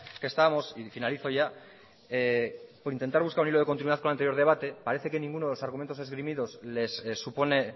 que estamos y finalizo ya por intentar buscar un hilo de continuidad con el anterior debate parece que ninguno de los argumentos esgrimidos les supone